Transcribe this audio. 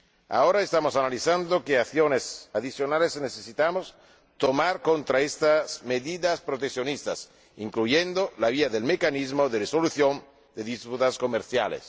Ahora estamos analizando qué acciones adicionales necesitamos tomar contra estas medidas proteccionistas, incluyendo la vía del mecanismo de resolución de disputas comerciales.